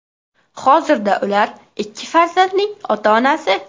Hozirda ular ikki farzandning ota-onasi.